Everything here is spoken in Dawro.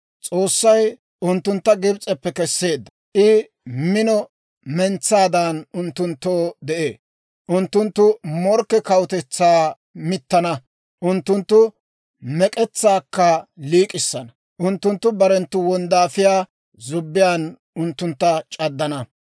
S'oossay unttuntta Gibs'eppe kesseedda; I mino mentsaadan unttunttoo de'ee. Unttunttu morkke kawutetsaa mittana; unttunttu mek'etsaakka liik'issana; unttunttu barenttu wonddaafiyaa zubbiyaan unttuntta c'addana.